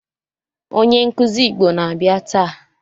Onye nkuzi Igbo na-abịa taa